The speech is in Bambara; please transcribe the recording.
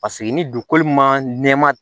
Paseke ni dugukolo ma nɛma